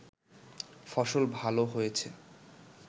ফসল ভাল হয়েছে